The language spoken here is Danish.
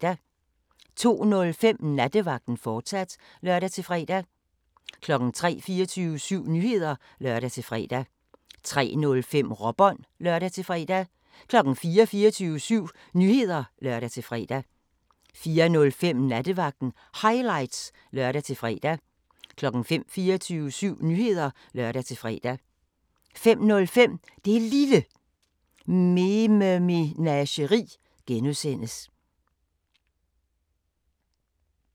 02:05: Nattevagten, fortsat (lør-fre) 03:00: 24syv Nyheder (lør-fre) 03:05: Råbånd (lør-fre) 04:00: 24syv Nyheder (lør-fre) 04:05: Nattevagten Highlights (lør-fre) 05:00: 24syv Nyheder (lør-fre) 05:05: Det Lille Mememageri (G)